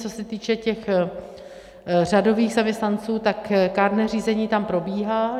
Co se týče těch řadových zaměstnanců, tak kárné řízení tam probíhá.